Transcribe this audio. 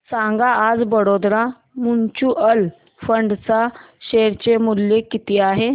सांगा आज Baroda mutual fund च्या शेअर चे मूल्य किती आहे